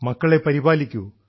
മക്കളെ പരിപാലിക്കൂ